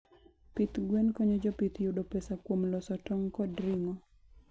Pith gwen konyo jopith yudo pesa kuom loso tong' kod ring'o.